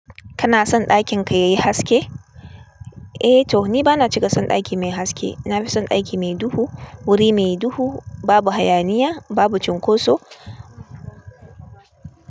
Kana son ɗakin ka yayi haske? Eh to ni bana cika son ɗaki mai haske. Na fi son ɗaki mai duhu, wuri mai duhu, babu hayaniya, babu cunkoso.